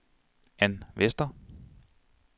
Ann Vester